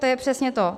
To je přesně to.